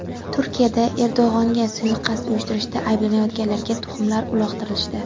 Turkiyada Erdo‘g‘onga suiqasd uyushtirishda ayblanayotganlarga tuxumlar uloqtirishdi.